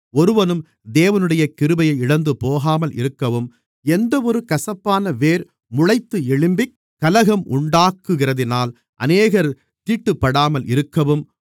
ஒருவனும் தேவனுடைய கிருபையை இழந்துபோகாமல் இருக்கவும் எந்தவொரு கசப்பான வேர் முளைத்து எழும்பிக் கலகம் உண்டாக்குகிறதினால் அநேகர் தீட்டுப்படாமல் இருக்கவும்